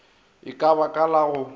ka ba ka la go